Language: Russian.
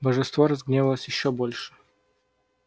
божество разгневалось ещё больше